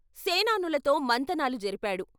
సేనానులతో మంతనాలు జరిపాడు.